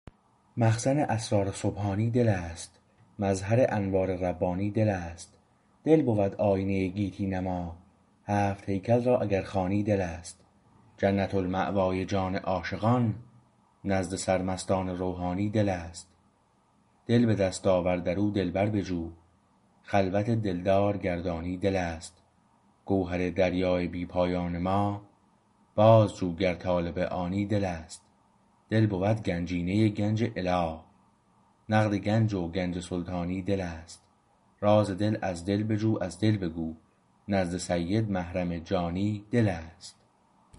مخزن اسرار سبحانی دل است مظهر انوار ربانی دل است دل بود آیینه گیتی نما هفت هیکل را اگر خوانی دل است جنت المأوای جان عاشقان نزد سرمستان روحانی دل است دل به دست آور در او دلبر بجو خلوت دلدار گر دانی دل است گوهر دریای بی پایان ما باز جو گر طالب آنی دل است دل بود گنجینه گنج اله نقد گنج و گنج سلطانی دل است راز دل از دل بجو از دل بگو نزد سید محرم جانی دل است